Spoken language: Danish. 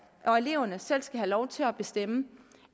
og eleverne selv skal have lov til at bestemme